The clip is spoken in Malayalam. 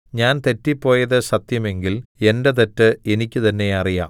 ഞാൻ തെറ്റിപ്പോയത് സത്യം എങ്കിൽ എന്റെ തെറ്റ് എനിക്ക് തന്നെ അറിയാം